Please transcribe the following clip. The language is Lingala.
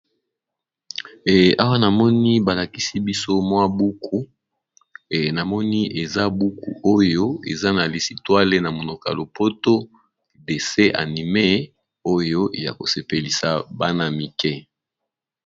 Awa namoni balakisi biso mwa buku namoni eza buku oyo eza na lisitwale na monoko ya lopoto dessin animé oyo ya ko sepelisa bana mike.